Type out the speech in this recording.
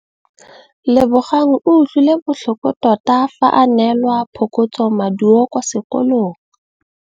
Lebogang o utlwile botlhoko tota fa a neelwa phokotsômaduô kwa sekolong.